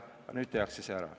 Aga nüüd tehakse see ära.